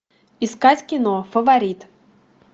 искать кино фаворит